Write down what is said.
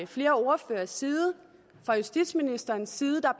flere ordføreres side fra justitsministerens side der